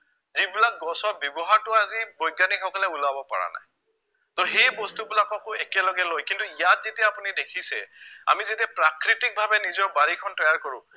যিবিলাক গছৰ ব্য়ৱহাৰটো আজি বৈজ্ঞানিকসকলে উলাব পৰা নাই তহ সেই বস্তুবিলাককো একেলগে লৈ কিন্তু ইয়াত যেতিয়া আপুনি দেখিছে আমি যেতিয়া প্ৰাকৃতিকভাৱে নিজৰ বাৰীখন তৈয়াৰ কৰো